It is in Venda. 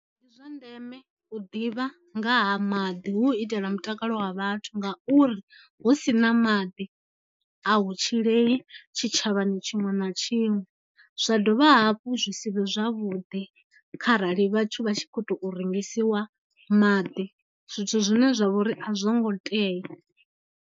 Ndi zwa ndeme u ḓivha nga ha maḓi hu u itela mutakalo wa vhathu ngauri hu si na maḓi a hu tshilei tshitshavhani tshiṅwe na tshiṅwe, zwa dovha hafhu zwi si vhe zwavhuḓi kharali vhathu vha tshi khou tou rengisiwa maḓi zwithu zwine zwa vhori a zwo ngo tea.